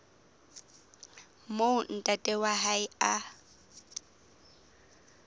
moo ntate wa hae a